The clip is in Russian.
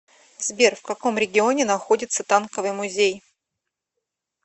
сбер в каком регионе находится танковый музей